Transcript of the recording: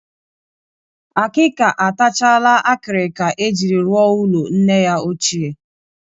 Akịka atachala akịrịka e jiri rụọ ụlọ nne ya ochie